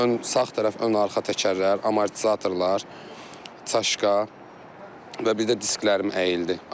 Ön sağ tərəf, ön arxa təkərlər, amortizatorlar, çaşka və bir də disklərim əyildi.